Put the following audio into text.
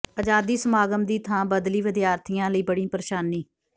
ਆਜ਼ਾਦੀ ਸਮਾਗਮ ਦੀ ਥਾਂ ਬਦਲੀ ਵਿਦਿਆਰਥੀਆਂ ਲਈ ਬਣੀ ਪ੍ਰੇਸ਼ਾਨੀ